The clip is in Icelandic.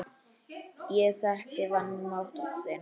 Ég þekki vanmátt þinn.